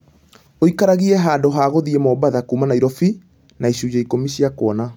ũikaragie handũ ha gũthiĩ mombatha kuuma nairobi na icunjĩ ikũmi cia kuona